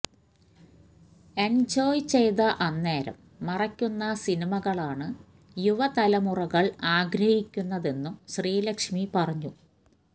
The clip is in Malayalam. എന്ജോയ് ചെയ്ത അന്നേരം മറക്കുന്ന സിനിമകളാണ് യുവ തലമുറകള് ആഗ്രഹിയ്ക്കുന്നതെന്നും ശ്രീലക്ഷ്മി പറഞ്ഞു